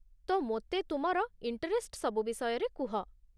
ତ, ମୋତେ ତୁମର ଇଣ୍ଟରେଷ୍ଟ ସବୁ ବିଷୟରେ କୁହ ।